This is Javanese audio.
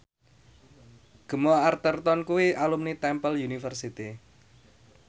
Gemma Arterton kuwi alumni Temple University